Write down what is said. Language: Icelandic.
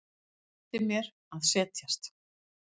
Benti mér að setjast.